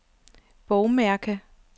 bogmærke